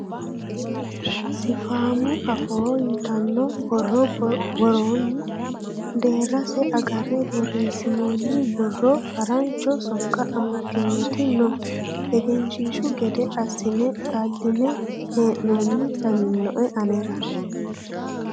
Sifaamu afoo ytano borro worooni deerrase agarre borreesinoni borro harancho sokko amadinoti no egenshiishshu gede assine xaline hee'nonni lawinoe anera.